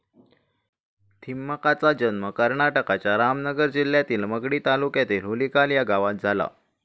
थिम्माकांचा जन्म कर्नाटकांच्या रामनगर जिल्ह्यातील मगडी तालुक्यातील हुलीकाल या गावात झाला.